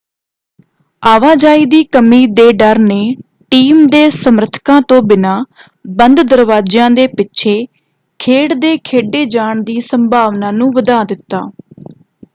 ਆਵਾਜਾਈ ਦੀ ਕਮੀ ਦੇ ਡਰ ਨੇ ਟੀਮ ਦੇ ਸਮਰਥਕਾਂ ਤੋਂ ਬਿਨਾਂ ਬੰਦ ਦਰਵਾਜਿਆਂ ਦੇ ਪਿੱਛੇ ਖੇਡ ਦੇ ਖੇਡੇ ਜਾਣ ਦੀ ਸੰਭਾਵਨਾ ਨੂੰ ਵਧਾ ਦਿੱਤਾ।